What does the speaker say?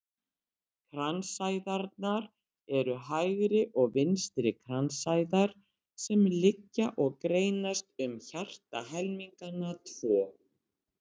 Kransæðarnar eru hægri og vinstri kransæðar sem liggja og greinast um hjartahelmingana tvo.